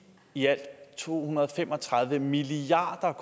i alt to hundrede og fem og tredive milliard